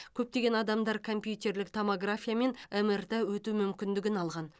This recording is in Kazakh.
көптеген адамдар компьютерлік томография мен мрт өту мүмкіндігін алған